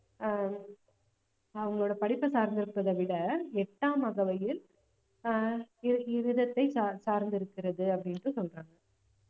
ஆஹ் அவங்களோட படிப்பை சார்ந்து இருப்பதை விட எட்டாம் அகவையில் ஆஹ் இவ்~ இவ்விதத்தை சார்ந்~ சார்ந்திருக்கிறது அப்படின்னுட்டு சொல்றாங்க